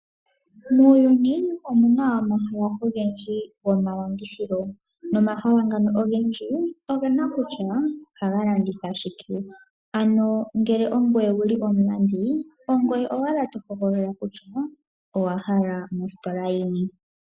Muuyuni omuna omahala ogendji gomalandithilo. Nomahala ngano ogendji ogena kutya ohaga landitha shike. Ano ngele ongweye wuli omulandi ogwe owala to hogolola kutya owa hala mositola yini.